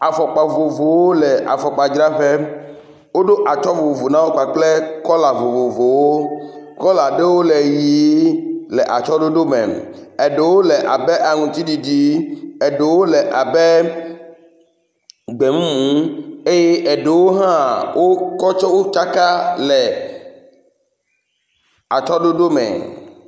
Afɔkpa vovovowo le afɔkpa dzraƒe. Woɖo atsyɔ̃ vovovo na wo kpakple kɔla vovovowo. Kɔla aɖewo le ʋie le atsyɔ̃ɖoɖome, aɖewo le abe aŋtsiɖiɖi, aɖewo le abe gbemumu eye aɖewo hã wo kɔ tsaka le atsyɔ̃ɖoɖome.